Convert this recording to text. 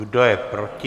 Kdo je proti?